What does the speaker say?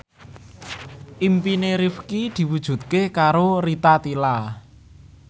impine Rifqi diwujudke karo Rita Tila